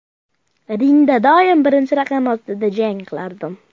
Ringda doim birinchi raqam ostida jang qilardim.